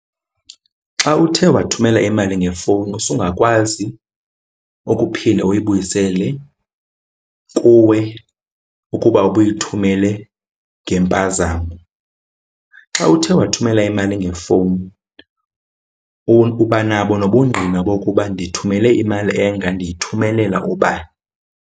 Xa uthe wathumela imali ngefowuni usungakwazi ukuphinda uyibuyisele kuwe ukuba uba uyithumele ngempazamo. Xa uthe wathumela imali ngefowuni uba nabo nobungqina bokuba ndithumele imali enga, ndiyithumelela ubani.